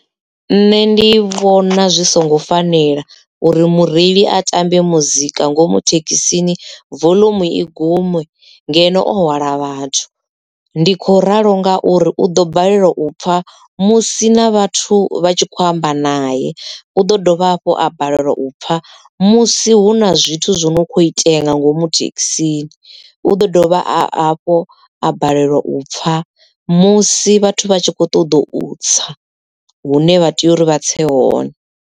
Nṋe ndi vhona zwi songo fanela uri mureili a tambe muzika ngomu thekhisini volomu i gume ngeno o hwala vhathu ndi kho ralo ngauri u ḓo balelwa u pfa musi na vhathu vha tshi kho amba naye u ḓo dovha hafho a balelwa u pfa musi hu na zwithu zwo no kho itea nga ngomu thekhisini u ḓo dovha a fho a balelwa u pfa musi vhathu vha tshi kho ṱoḓa u tsa hune vha tea uri vha tse hone.